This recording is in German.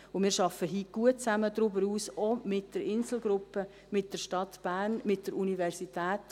Und wir arbeiten heute gut zusammen, darüber hinaus auch mit der InselGruppe, mit der Stadt Bern, mit der Universität: